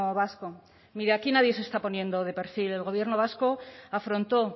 vasco mire aquí nadie se está poniendo de perfil el gobierno vasco afrontó